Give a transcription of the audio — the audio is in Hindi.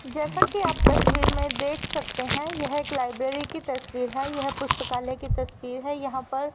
जैसा कि आप तस्वीर में देख सकते हैं यह एक लाइब्रेरी की तस्वीर है यह पुस्तकालय की तस्वीर है यहां पर--